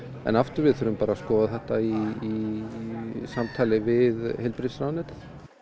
en aftur við þurfum bara að skoða þetta í samstarfi við heilbrigðisráðuneytið